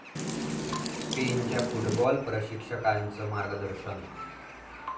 स्पेनच्या फुटबॉल प्रशिक्षकांचं मार्गदर्शन